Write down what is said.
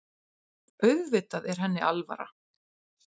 Auðvitað er henni alvara.